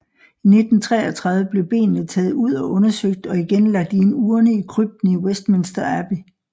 I 1933 blev benene taget ud og undersøgt og igen lagt i en urne i krypten i Westminster Abbey